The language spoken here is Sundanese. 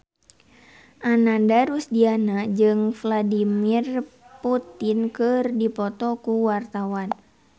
Ananda Rusdiana jeung Vladimir Putin keur dipoto ku wartawan